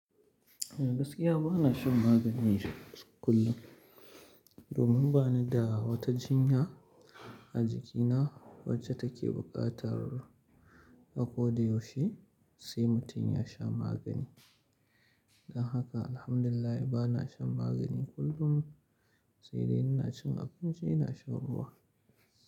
Gaskiya bana shan magani kullum, domin bani da wata jinya a jikina wacce take buƙatar a kodayaushe sai mutum ya sha magani. Don haka, alhamdulillah bana shan magani kullum sai dai ina cin abinci ina shan ruwa.